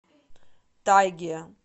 тайге